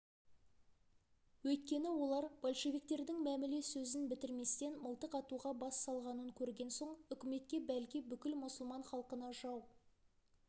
өйткені олар большевиктердің мәміле сөзін бітірместен мылтық атуға бас салғанын көрген соң үкіметке бәлки бүкіл мұсылман халқына жау